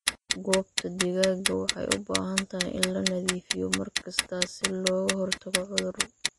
Goobta digaaga waxay u baahan tahay in la nadiifiyo mar kasta si looga hortago cudur.